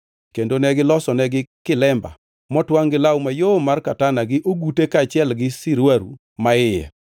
kendo ne gilosonegi kilemba motwangʼ gi law mayom mar katana gi ogute kaachiel gi sirwaru maiye,